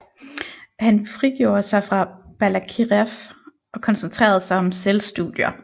Han frigjorde sig fra Balakirev og koncentrerede sig om selvstudier